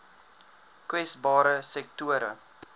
kwesbare sektore